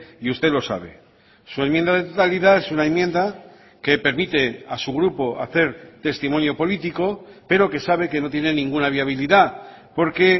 y usted lo sabe su enmienda de totalidad es una enmienda que permite a su grupo hacer testimonio político pero que sabe que no tiene ninguna viabilidad porque